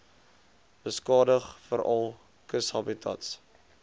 beskadig veral kushabitats